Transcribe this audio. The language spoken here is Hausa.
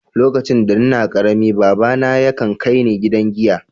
Lokacin da n'na karemi, baba na ya kan kai ni gidan giya.